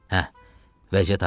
Hə, vəziyyət ağırdı.